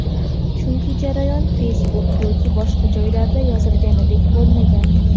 Chunki jarayon Facebook yoki boshqa joylarda yozilganidek bo‘lmagan.